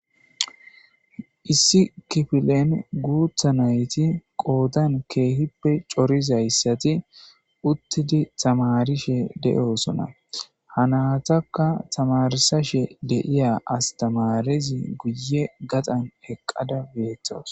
Issi kifflen gutha naytti qodan kehippe corizays uttidi tamarishe deossonna. Ha nathaka tamarsashe de'ya astamarezi guye gaxan eqada bethawus.